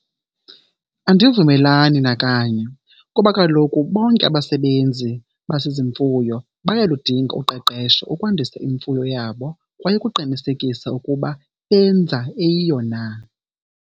Andivumelani nakanye kuba kaloku bonke abasebenzi basezimfuyo bayaludinga uqeqesho ukwandisa imfuyo yabo kwaye ukuqinisekisa ukuba benza eyiyo na.